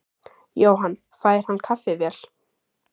Jóhann: Fær hann kaffivél?